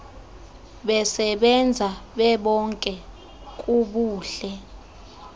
besebenza bebonke kubuhle